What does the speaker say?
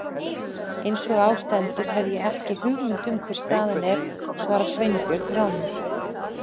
Eins og á stendur hef ég ekki hugmynd um hver staðan er- svaraði Sveinbjörn rámur.